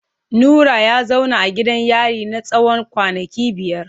Nura ya zauna a gidan yari na tsawon kwanaki biyar.